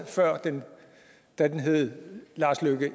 da den hed lars løkke